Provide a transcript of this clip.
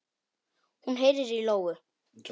Hún heyrir í lóu.